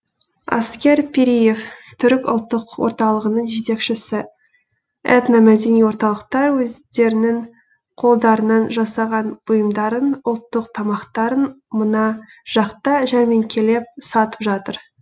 аскер пириев түрік ұлттық орталығының жетекшісі этномәдени орталықтар өздерінің қолдарынан жасаған бұйымдарын ұлттық тамақтарын мына жақта жәрмеңкелеп сатып жатыр